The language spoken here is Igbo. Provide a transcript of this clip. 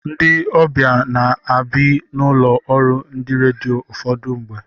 Ndị obia na-abi n'ụlọ ọrụ ndị redio ụfọdụ mgbe.